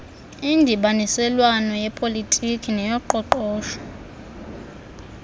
indibaniselwano yepolitiki neyoqoqosho